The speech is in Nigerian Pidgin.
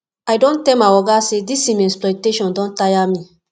i don tell my oga sey dis im exploitation don tire me